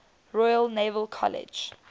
royal naval college